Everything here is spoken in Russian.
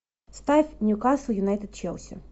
ставь ньюкасл юнайтед челси